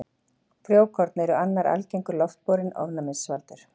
Frjókorn eru annar algengur loftborinn ofnæmisvaldur.